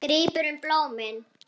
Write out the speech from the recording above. Grípur um blómin.